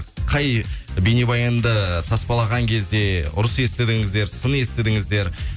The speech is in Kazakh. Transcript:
қай бейнебаянды таспалаған кезде ұрыс естідіңіздер сын естідіңіздер